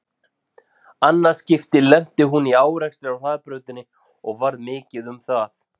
Annað skipti lenti hún í árekstri á hraðbrautinni og varð mikið um það.